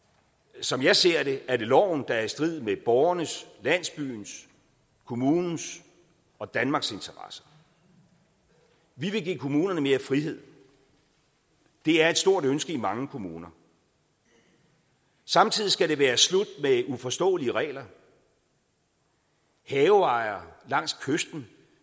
som jeg ser det er det loven der er i strid med borgernes landsbyens kommunens og danmarks interesser vi vil give kommunerne mere frihed det er et stort ønske i mange kommuner samtidig skal det være slut med uforståelige regler haveejere langs kysten